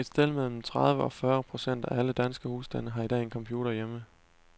Et sted mellem tredive og fyrre procent af alle danske husstande har i dag en computer hjemme.